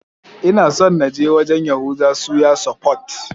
Ina son na je wajan Yahuza suya sufot